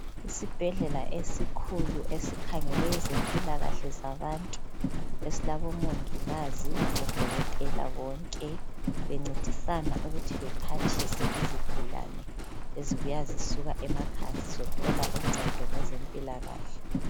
isibhedlela esikhulu esikhangele izempilakahle zabantu esilabo mongikazi labo dokotela bonke bencedisana ukuthi bephathise izigulane ezibuya zisuka emakhaya zizothola uncedo ngeze mpilakahle